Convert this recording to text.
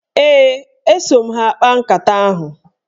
Ee, eso m ha akpa nkata ahụ.